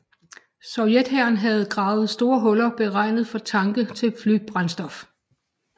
Sovjet hæren havde gravet store huller beregnet for tanke til flybrændstof